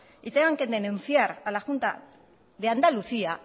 y tengan que denunciar a la junta de andalucía